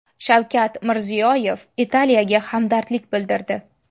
Shavkat Mirziyoyev Italiyaga hamdardlik bildirdi.